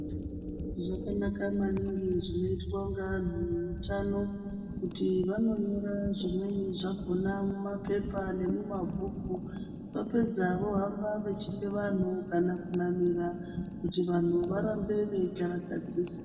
Zvakanaka maningi zvinoitwa ngevantu veutano kuti vanonyora zvimweni zvakona mumapepa nembhuku vapedza vohamba veipa vantu kana kunamira kuti vantu varambe veikarakaziswa.